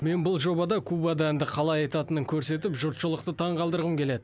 мен бұл жобада кубада әнді қалай айтатынын көрсетіп жұртшылықты таңғалдырғым келеді